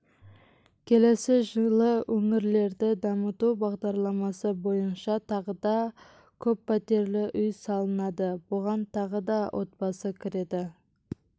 келесі жылы өңірлерді дамыту бағдарламасы бойынша тағы да көппәтерлі үй салынады бұған тағы да отбасы кіреді